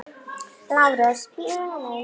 LÁRUS: Bíðið aðeins.